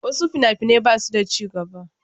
Wasu fina-finai ba su da ci gaba.